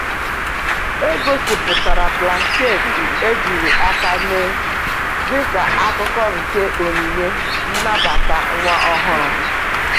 E gosipụtara blanketị ejiri aka mee dịka akụkụ nke onyinye nnabata nwa ọhụrụ.